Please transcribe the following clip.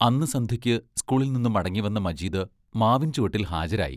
അന്നു സന്ധ്യയ്ക്ക് സ്കൂളിൽ നിന്നു മടങ്ങിവന്ന മജീദ് മാവിൻ ചുവട്ടിൽ ഹാജരായി.